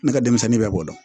Ne ka denmisɛnnin bɛɛ b'o dɔn